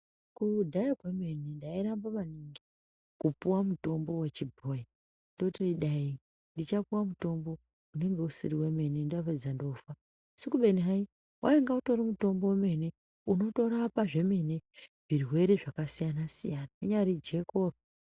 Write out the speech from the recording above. Kudhaya kwemene ndairamba maningi kupuwa mutombo wechibhoyi ndoti dai ndichapuwa mutombo unenge usiri wemene ndapedza ndofa asi kubeni hai wainga utori mutombo wemene unotorapa zvemene zvirwere zvakasiyana siyana rinyari jeko.